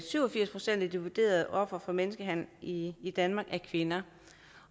syv og firs procent af de vurderede ofre for menneskehandel i i danmark er kvinder